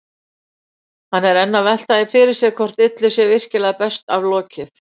Hann er enn að velta því fyrir sér hvort illu sé virkilega best aflokið.